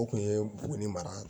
O kun ye buguni mara ye